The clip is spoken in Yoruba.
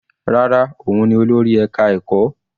Rárá, òun ni olórí ẹka ẹ̀kọ́.